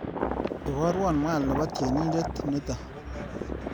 Ibarwa mwaal nebo tyenindet neto.